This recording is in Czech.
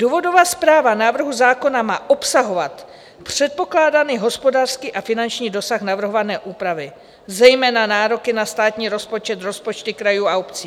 Důvodová zpráva návrhu zákona má obsahovat předpokládaný hospodářský a finanční dosah navrhované úpravy, zejména nároky na státní rozpočet, rozpočty krajů a obcí.